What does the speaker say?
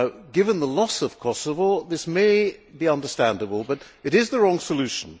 Given the loss of Kosovo, this may be understandable, but it is the wrong solution.